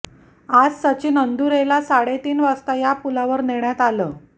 आज सचिन अंदुरेला साडेतीन वाजता या पुलावर नेण्यात आलं